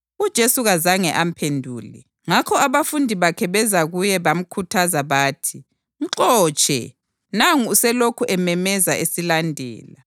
UJesu kazange amphendule. Ngakho abafundi bakhe beza kuye bamkhuthaza bathi, “Mxotshe, nangu uselokhu ememeza esilandela.”